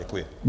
Děkuji.